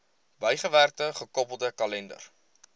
bygewerkte gekoppelde kalender